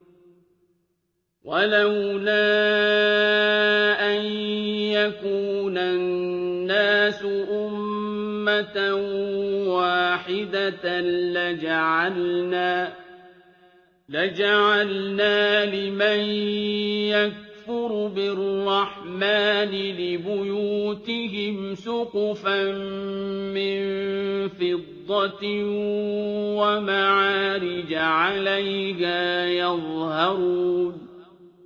وَلَوْلَا أَن يَكُونَ النَّاسُ أُمَّةً وَاحِدَةً لَّجَعَلْنَا لِمَن يَكْفُرُ بِالرَّحْمَٰنِ لِبُيُوتِهِمْ سُقُفًا مِّن فِضَّةٍ وَمَعَارِجَ عَلَيْهَا يَظْهَرُونَ